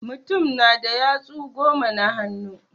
Mutum na da yatsu goma na hannu.